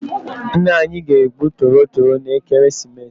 Ńnà anyị ga-egbu tọrọ toro n' ekeresimesi.